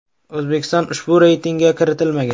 O‘zbekiston ushbu reytingga kiritilmagan.